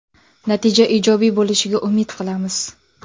Natija ijobiy bo‘lishiga umid qilamiz.